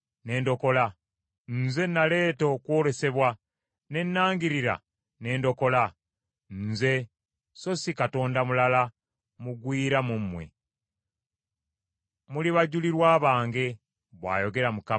Nze naleeta okwolesebwa ne nangirira ne ndokola; nze so si katonda mulala mugwira mu mmwe. Muli bajulirwa bange,” bw’ayogera Mukama .